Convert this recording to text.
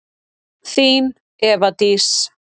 Þín, Eva Dís.